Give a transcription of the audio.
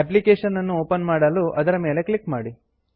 application ಅನ್ನು open ಮಾಡಲು ಅದರ ಮೇಲೆ ಕ್ಲಿಕ್ ಮಾಡಿ